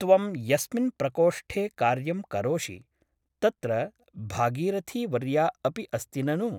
त्वं यस्मिन् प्रकोष्ठे कार्यं करोषि तत्र भागीरथीवर्या अपि अस्ति ननु ?